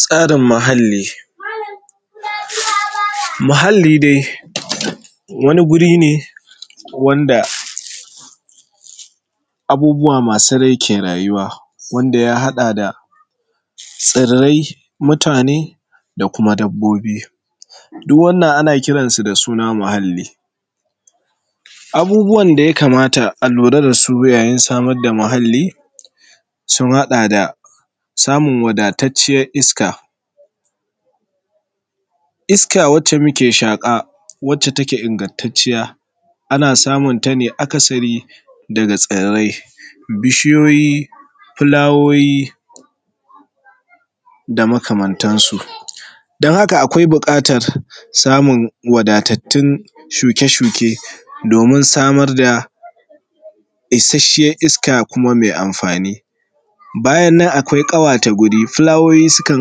Tsarin muhalli. Muhalli dai wani wuri ne wanda abubuwa masu rai ke rayuwa, wanda ya haɗa da tsirai, mutane, da kuma dabbobi. Duk wannan ana kiran su da suna muhalli. Abubuwan da ya kamata ta a lura da su yayin samar da muhalli sun haɗa da samun wadatatciyar iska. Iska wadda muke shaƙa wacce take ingantatciya ana samun ta akasari daga tsirrai, bishiyoyi, filayoyi da makamantansu. Don haka akwai buƙatar samun wadatattun shuke shuke domin samar da isashshen iska kuma mai amfani. Bayan nan akwai ƙawata wuri, filayoyi sukan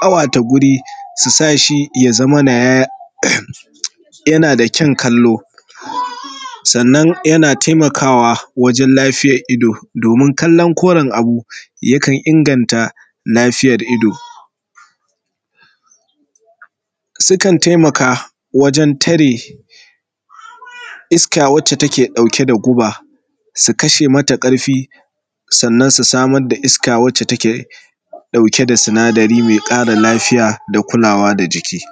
ƙawata wuri su sa shi ya zamana yana da kyaun kallo, sannan yana taimakawa wajan lafiyan ido domin kallon koran abu yakan inganta lafiyan ido. Sukan taimaka wajan tare iska wacce take ɗauke da guba, su kashe mata ƙarfi, sannan su samar da iska wacce take ɗauke da sinadari mai ƙara lafiya da kulawa da jiki.